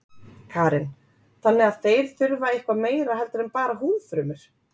Karen: Þannig að þeir þurfa eitthvað meira heldur en bara húðfrumur?